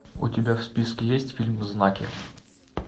у тебя в списке есть фильм знаки